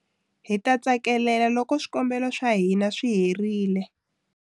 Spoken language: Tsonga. Hi ta tsakelela loko swikambelo swa hina swi herile.